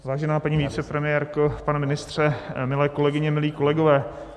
Vážená paní vicepremiérko, pane ministře, milé kolegyně, milí kolegové.